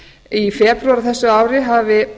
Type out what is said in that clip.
í febrúar á þessu ári hafi